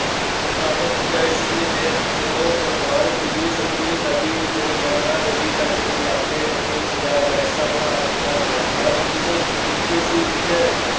ਅਠਾਰਾਂ ਸੌ ਸਤਵੰਜਾ ਈਸਵੀ ਦੇ ਵਿਦਰੋਹ ਤੋਂ ਬਾਅਦ ਦਿੱਲੀ ਸਤਲੁਜ ਨਦੀ ਤੋਂ ਜਮੁਨਾ ਨਦੀ ਤੱਕ ਦੇ ਇਲਾਕੇ ਨੂੰ ਵੀ ਪੰਜਾਬ ਦਾ ਹਿੱਸਾ ਬਣਾ ਦਿੱਤਾ ਗਿਆ। ਉਨੀ ਸੌ ਇੱਕ ਈਸਵੀ ਵਿੱਚ